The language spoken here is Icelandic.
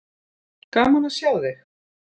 Gaman að sjá þig.